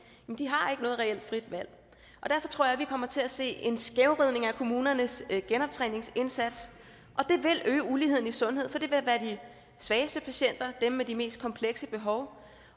har ikke noget reelt frit valg derfor tror jeg vi kommer til at se en skævvridning af kommunernes genoptræningsindsats og det vil øge uligheden i sundhed for det vil være de svageste patienter dem med de mest komplekse behov